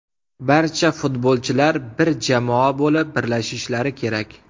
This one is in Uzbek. Barcha futbolchilar bir jamoa bo‘lib birlashishlari kerak.